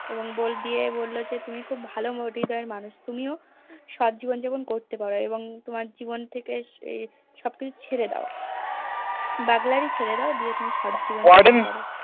এবং দিয়ে বললো যে তুমি খুব ভালো Motive এর মানুষ তুমিও সৎ জীবনযাপন করতে পারো এবং তোমার জীবন থেকে এ সবকিছু ছেড়ে দাও Burglary ছেড়ে দাও দিয়ে তুমি সৎ জীবনযাপন করো